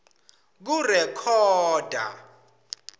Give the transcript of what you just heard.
kurekhoda